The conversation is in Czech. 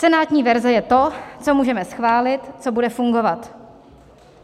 Senátní verze je to, co můžeme schválit, co bude fungovat.